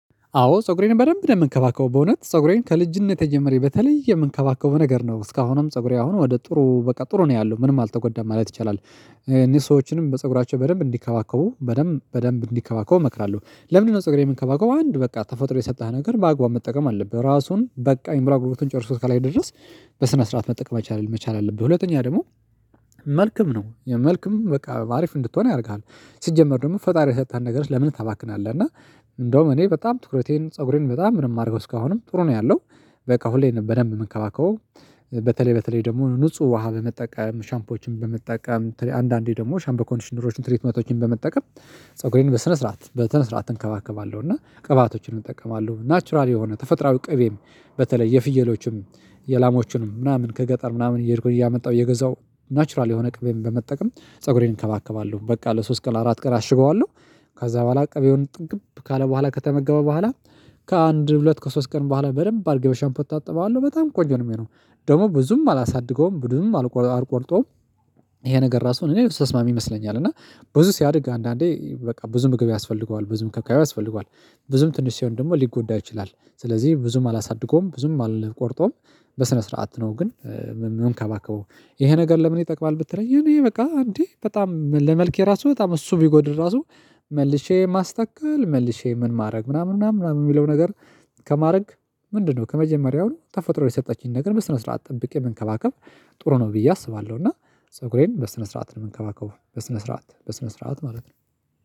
አዎ ፀጉሬን በደንብ ነው የምንከባከበው፤ በእውነት ፀጉሬን ከልጅነቴ ጀመረ በተለይ የምንከባከበው ነገር ነው። እስካሁንም ፀጉሬ አሁን ወደ ጥሩ በቃ ጥሩ ነው ያለው፤ ምንም አልተጎዳም ማለት ይቻላል። እኔ ሰዎችንም በፀጉራቸው በደንብ እንዲከባከቡ በደንብ በደንብ እንዲከባከቡ እመክራለሁ። ለምንድነው ፀጉሬን የምንከባከበው አንድ በቃ ተፈጥሮ የሰጠህ ነገር በአግባቡ መጠቀም አለብህ ራሱን በቃ የምራግብሩን ጨርሶት ከላይ ድረስ በስነ ስርዓት መጠቀም መቻል መቻል አለብህ። ሁለተኛ ደግሞ መልክም ነው መልክም በቃ አሪፍ እንድትሆን ያደርግሃል ሲጀመር ደግሞ ፈጣሪ የሰጣህን ነገር ለምን ታባክናለህ። እና እንደውም እኔ በጣም ትኩረቴን ፀጉሬን በጣም ምንም አደረገው እስካሁንም ጥሩ ነው ያለው፤ በቃ ሁሌ በደንብ የምንከባከበው በተለይ በተለይ ደግሞ ንጹህ ውሃ በመጠቀም፤ ሻምፖዎችን በመጠቀም፤ አንዳንዴ ደግሞ ሻምፖ ኮንዲሽነሮችን ትሪት መቶዎችን በመጠቀም፤ ፀጉሬን በስነ ስርዓት በስነ ስርዓት እንከባከባለሁ፤ እና ቅባቶችን እጠቀማለሁ፤ ናቹራል የሆነ ተፈጥሮአዊ ቅቤም በተለይ የፍየሎችም፤ የላሞችንም ምናምን ከገጠር ምናምን እየሄድኩኝ እያመጣሁ እየገዛሁ ናቹራል የሆነ ቅቤን በመጠቀም ፀጉሬን እንከባከባለሁ በቃ ለሶስት ቀን አራት ቀን አሽገዋለሁ፤ ከዛ በኋላ ቀቤውን ጥግብ ካለ በኋላ ከተመገበ በኋላ፤ ከአንድ ሁለት ከሶስት ቀን በኋላ በደንብ አርጌ በሻምፖ እታጥበዋለሁ በጣም ቆንጆ ነው የሚሆነው። ደግሞ ብዙም አላሳድገውም ብዙም አልቆርጠውም ይሄ ነገር ራሱ እኔ ስትሰማ ይመስለኛል እና ብዙ ሲያድግ አንዳንዴ በቃ ብዙ ምግብ ያስፈልገዋል ብዙ ከካየው ያስፈልገዋል ብዙም ትንሽ ሲሆን ደግሞ ሊጎዳ ይችላል። ስለዚህ ብዙም አላሳድገውም ብዙም አልቆርጠውም በስነ ስርዓት ነው ግን የምንካባከበው ይሄ ነገር ለምን ይጠቅማል ብትለኝ እኔ በቃ እንዴ በጣም ራሱ በጣም እሱ ቢጎድል ራሱ መልሼ ማስተከል፤ መልሼ ምን ማድረግ ምናምን ምናምን የሚለው ነገር ከማድረግ ምንድነው ከመጀመሪያው ተፈጥሮ የሰጠችኝን ነገር በስነ ስርዓት ጠብቄ መንከባከብ ጥሩ ነው ብዬ አስባለሁ። እና ሰጉሬን በስነ ስርዓት ነው የምንከባከበው በስነ ስርዓት በስነ ስርዓት ማለት ነው።